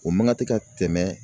O man ka tɛ ka tɛmɛ